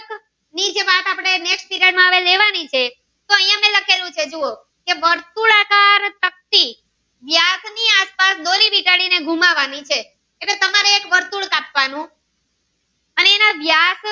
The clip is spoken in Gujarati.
કરવાની છે જો આયા મેં લખેલું છે જુઓ એક વર્તુળ આકાર તકતી વ્યાસ ની આસપાસ દોરી વીંટાળી ને ઘુમાંવાની છે તમારે એક વર્તુળ કાપવાનું અને વ્યાસ માં.